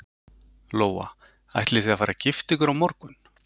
Lóa: Ætlið þið að fara að gifta ykkur á morgun?